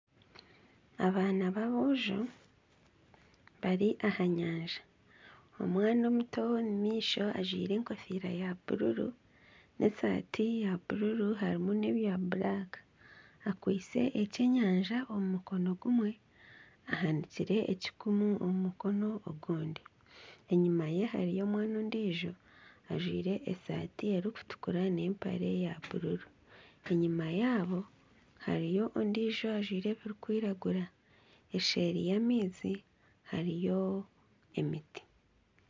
Abaana baboojo bari aha nyanja, omwana omuto ow'omumaisho ajwaire enkofiira ya bururu nana esaati ya bururu harimu nana ebirikwiragura akwaitse ekyenyanja omu mukono gumwe, ahanikire ekikumu omu mukono ogundi, enyuma ye hariyo omwana ondiijo ajwaire esaati erikutukura nana empare ya bururu enyuma yaabo hariyo ondiijo ajwaire ebirikwiragura eseeri y'amaizi hariyo emiti.